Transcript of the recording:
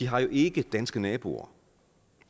har jo ikke danske naboer